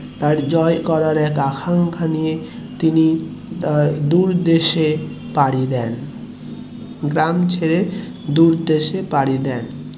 জয় করার এক আকাঙ্খা নিয়ে তিনি আহ দূর দেশে পাড়ি দেন গ্রাম ছেড়ে দূর দেশে পাড়ি দেন,